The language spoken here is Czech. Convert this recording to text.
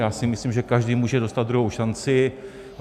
Já si myslím, že každý může dostat druhou šanci.